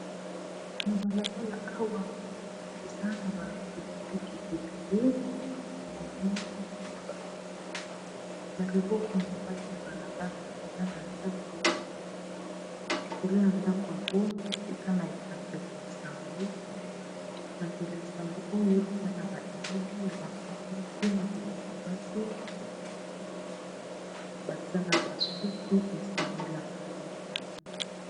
Na balabala awa ezala na ba riupiki ebiye imeme bato na loboko ya mobali ya balabala eza na ndako ekolo ya ndako yango eza na epanzeli ya sango epanzeli ya sango oyo eza na ba elibi ya bamama mwasi na bilemgi basi baza na basuku esanola.